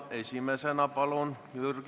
Esimesena Jürgen Ligi, palun!